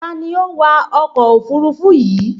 Ta ni ó wa ọkọ̀ òfurufú yìí